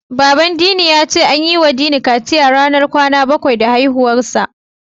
Baban Dini ya ce an yiwa Dini kaciya ranar kwana bakwai da haihuwarsa.